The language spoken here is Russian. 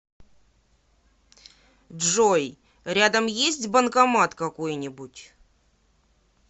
джой рядом есть банкомат какой нибудь